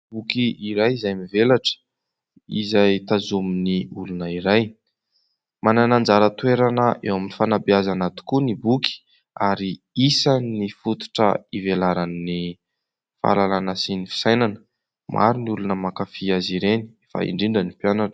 Boky iray izay mivelatra, izay tazomin'ny olona iray. Manana anjara toerana eo amin'ny fanabeazana tokoa ny boky ary isan'ny fototra ivelaran'ny fahalalana sy ny fisainana. Maro ny olona mankafy azy ireny fa indrindra ny mpianatra.